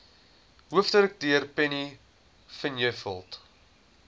hoofdirekteur penny vinjevold